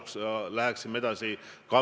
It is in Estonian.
Kus on väärtusvalikud?